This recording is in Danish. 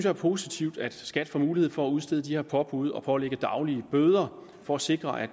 er positivt at skat får mulighed for at udstede de her påbud og pålægge daglige bøder for at sikre at